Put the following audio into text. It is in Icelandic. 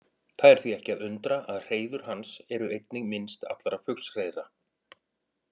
Það er því ekki að undra að hreiður hans eru einnig minnst allra fuglshreiðra.